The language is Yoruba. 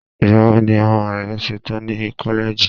igbawo ni ọmọ rẹ ṣetan ni koleji